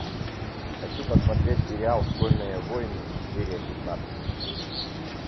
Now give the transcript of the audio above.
хочу посмотреть сериал школьные войны серия пятнадцать